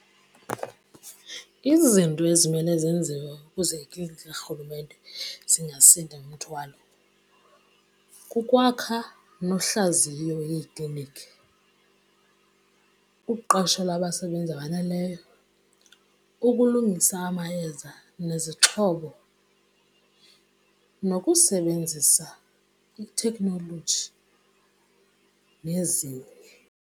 Izinto ezimele zenziwe ukuze ikliniki karhulumente zingasindwa ngumthwalo kukwakha nohlaziyo iikliniki, ukuqashela abasebenzi abaneleyo, ukulungisa amayeza nezixhobo, nokusebenzisa itheknoloji nezinye.